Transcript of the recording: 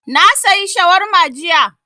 Na sayi shawarma jiya